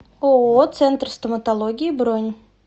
ооо центр стоматологии бронь